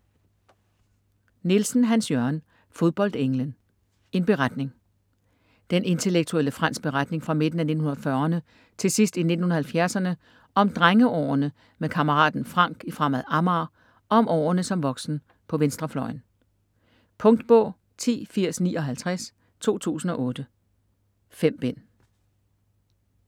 Nielsen, Hans-Jørgen: Fodboldenglen: en beretning Den intellektuelle Frands' beretning fra midten af 1940'rne til sidst i 1970'erne om drengeårene med kammeraten Frank i Fremad Amager og om årene som voksen på venstrefløjen. Punktbog 108059 2008. 5 bind.